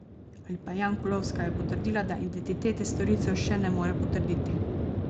Jankulovska je poudarila, da identitete storilcev še ne more potrditi.